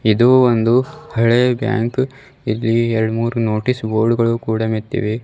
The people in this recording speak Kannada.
ಇದು ಒಂದು ಹಳೆಯ ಬ್ಯಾಂಕ್ ಇಲ್ಲಿ ಎರಡ್ ಮೂರು ನೋಟಿಸ್ ಬೋರ್ಡ್ ಗಳು ಕೂಡ ಮೆತ್ತಿವೆ.